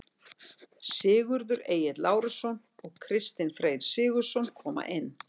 Sigurður Egill Lárusson og Kristinn Freyr Sigurðsson koma inn.